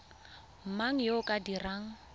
mang yo o ka dirang